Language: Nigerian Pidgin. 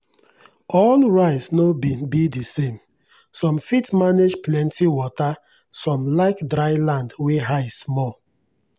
all rice no be be the same—some fit manage plenty water some like dry land wey high small.